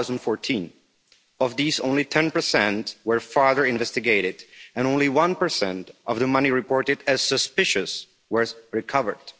2014. Of these only ten percent were further investigated and only one percent of the money reported as suspicious was recovered.